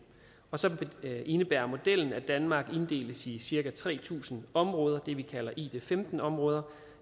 og så indebærer modellen at danmark inddeles i cirka tre tusind områder det vi kalder id15 områder